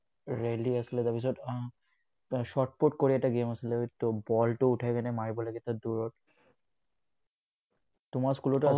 rally আছিলে, তাৰ পিছত আহ shot-put কৰি এটা game আছিলে। বলটো উঠাই মাৰিব লাগে দুৰত, তোমাৰ school তো